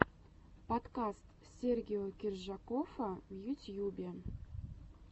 подкаст сергео киржакоффа в ютьюбе